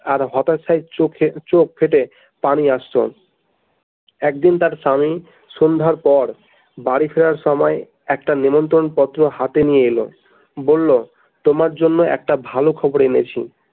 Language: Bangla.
আর হতাশার চোখ চোখ ফেটে পানি আসতো একদিন তার স্বামী সন্ধ্যার পর বাড়ি ফেরার সময় একটা নেমন্ত্রন পত্র হাতে নিয়ে এলো বললো তোমার জন্যে একটা ভালো খবর এনেছি।